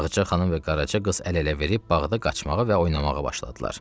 Ağacə xanım və qaraca qız əl-ələ verib bağda qaçmağa və oynamağa başladılar.